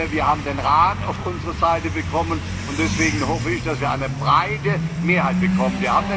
Wir haben den Rat auf unsere Seite bekommen, und deswegen hoffe ich, dass wir eine breite Mehrheit bekommen.